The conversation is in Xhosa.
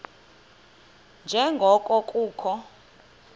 nje ngoko kukho